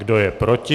Kdo je proti?